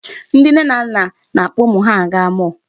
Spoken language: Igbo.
Ndị nne na nna na-akpọ ụmụ ha aga mall.